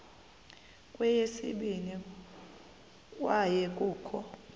kweyesibini kwaye kukho